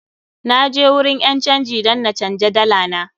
Na je wurin ƴan canji dan na canja dala na.